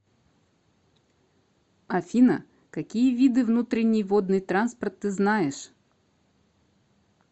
афина какие виды внутренний водный транспорт ты знаешь